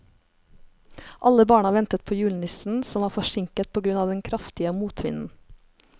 Alle barna ventet på julenissen, som var forsinket på grunn av den kraftige motvinden.